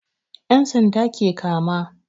yan'sanda ke kama.